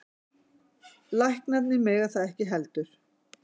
Læknarnir mega það ekki heldur.